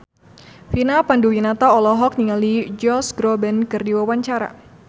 Vina Panduwinata olohok ningali Josh Groban keur diwawancara